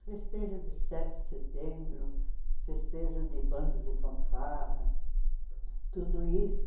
Festejo de sete de setembro, festejo de bandas de fanfarra, tudo isso.